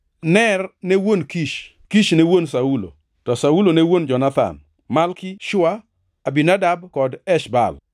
Ner ne wuon Kish, Kish ne wuon Saulo, to Saulo ne wuon Jonathan, Malki-Shua, Abinadab kod Esh-Baal.